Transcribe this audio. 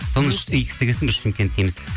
икс деген соң біз шымкент дейміз